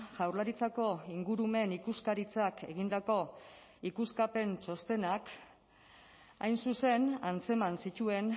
jaurlaritzako ingurumen ikuskaritzak egindako ikuskapen txostenak hain zuzen antzeman zituen